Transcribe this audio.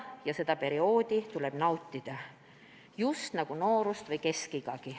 Ja seda perioodi tuleks nautida, just nii nagu noorust või keskiga.